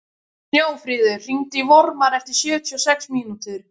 Snjáfríður, hringdu í Vormar eftir sjötíu og sex mínútur.